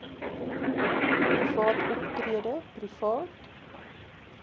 private optrede private